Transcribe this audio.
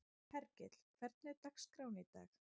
Hergill, hvernig er dagskráin í dag?